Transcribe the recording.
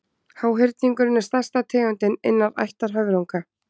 háhyrningurinn er stærsta tegundin innan ættar höfrunga